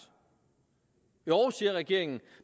jo siger regeringen